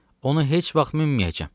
Onu heç vaxt minməyəcəm.”